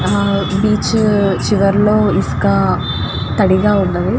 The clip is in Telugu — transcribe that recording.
ఆ బీచ్ చివరిలో ఇసుక తడి గ వుంది.